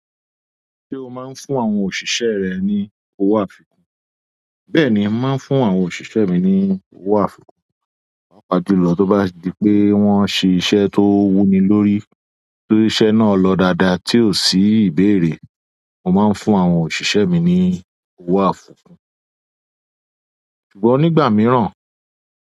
Ṣé o máa ń fún àwọn òṣìṣẹ́ rẹ ní owó àfikún? Bẹ́ẹ̀ni, mà á máa ń fún àwọn òṣìṣẹ́ mi ní owó àfikún, pàápàá jùlọ tó bá di pé wọ́n ṣe iṣẹ́ tó wú mi lórí. Tí iṣẹ́ náà lọ dáadáa tí ò sí ìbéèrè, mo máa ń fún àwọn òṣìṣẹ́ mi ní owó àfikún. Ṣùgbọ́n nígbà mìíràn.